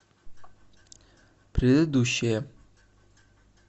предыдущая